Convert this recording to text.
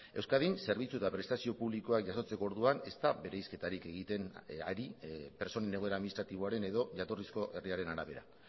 euskadin zerbitzu eta prestazio publikoa jasotzeko orduan ez da bereizketarik egiten ari pertsonen egoera administratiboaren edo jatorrizko herriaren arabera